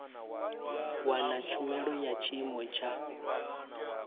wana tshumelo ya tshiimo tsha